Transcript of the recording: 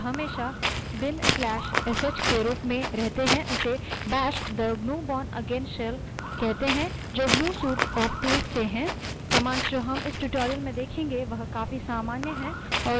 Linux पर मानक यानि standard shell जो हमेशा/bin/sh के रूप में इन्स्टॉल्ड रहता है उसे bash bash कहते हैं the gnu bourneagain shell जो gnu suite of tools से है